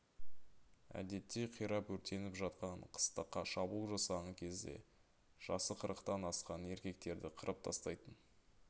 әдетте қирап өртеніп жатқан қыстаққа шабуыл жасаған кезде жасы қырықтан асқан еркектерді қырып тастайтын